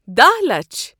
دہ لچھ